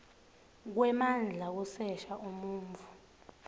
kwemandla kusesha umuntfu